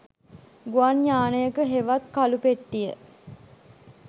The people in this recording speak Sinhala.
ගුවන් යානයකහෙවත් කළු පෙට්ටිය